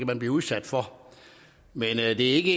man blive udsat for men det er ikke ikke